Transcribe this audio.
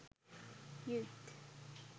youth